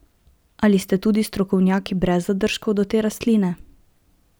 Ali ste tudi strokovnjaki brez zadržkov do te rastline?